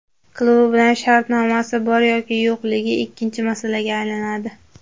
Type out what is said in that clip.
Klubi bilan shartnomasi bor yoki yo‘qligi ikkinchi masalaga aylanadi.